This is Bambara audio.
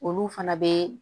Olu fana bɛ